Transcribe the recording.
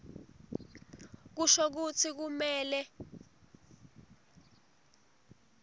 kusho kutsi kumele